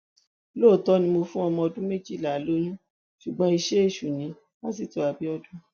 lóòótọ ni mo fún ọmọọdún méjìlá lóyún ṣùgbọn iṣẹ èṣù nípásitọ abiodun